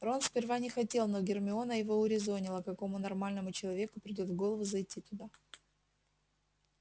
рон сперва не хотел но гермиона его урезонила какому нормальному человеку придёт в голову зайти туда